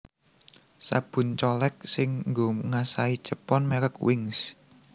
Sabun colek sing nggo ngasahi cepon merk Wings